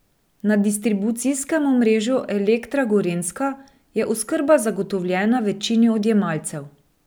Na distribucijskem omrežju Elektra Gorenjska je oskrba zagotovljena večini odjemalcev.